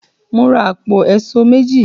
Mo ra àpò èṣó méjì.